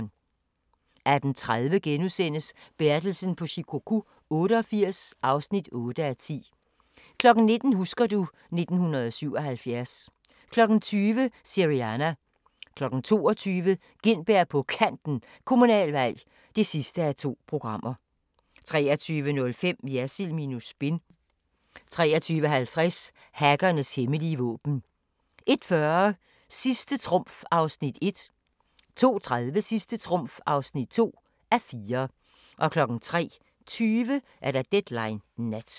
18:30: Bertelsen på Shikoku 88 (8:10)* 19:00: Husker du ... 1977 20:00: Syriana 22:00: Gintberg på Kanten – Kommunalvalg (2:2) 23:05: Jersild minus spin 23:50: Hackernes hemmelige våben 01:40: Sidste trumf (1:4) 02:30: Sidste trumf (2:4) 03:20: Deadline Nat